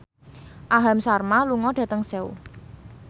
Aham Sharma lunga dhateng Seoul